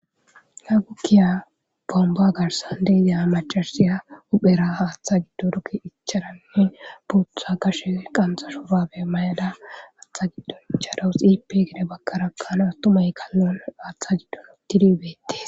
Gagukkiya bomba garsan deiza macarsiya uphera haaththa giddo ruki icharanne buutha kashe qanxashobabe may7ada aaththa giddon charawu xipe gede bakkarakkana attumay kallon aaththa giddon uttidibette